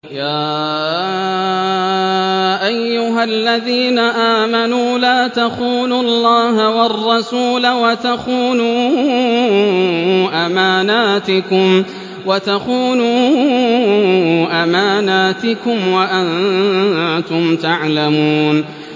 يَا أَيُّهَا الَّذِينَ آمَنُوا لَا تَخُونُوا اللَّهَ وَالرَّسُولَ وَتَخُونُوا أَمَانَاتِكُمْ وَأَنتُمْ تَعْلَمُونَ